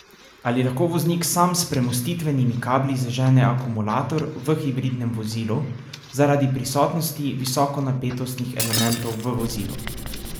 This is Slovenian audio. Ali lahko voznik sam s premostitvenimi kabli zažene akumulator v hibridnem vozilu, zaradi prisotnosti visokonapetostnih elementov v vozilu?